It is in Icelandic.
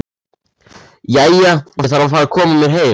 Jæja, ég þarf að fara að koma mér heim